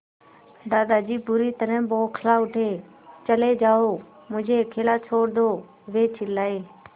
दादाजी बुरी तरह बौखला उठे चले जाओ मुझे अकेला छोड़ दो वे चिल्लाए